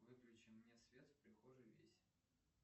выключи мне свет в прихожей весь